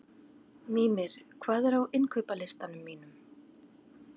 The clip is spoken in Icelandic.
Mímir, hvað er á innkaupalistanum mínum?